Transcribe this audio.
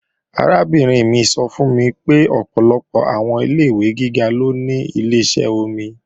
Arábìnrin mi sọ fún mi pé ọ̀pọ̀lọpọ̀ àwọn ilé-ìwé gíga ló ní Ileṣẹ́ omi